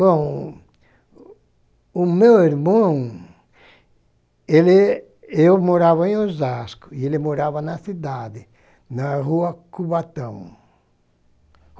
Bom, o meu irmão, ele, eu morava em Osasco e ele morava na cidade, na Rua Cubatão.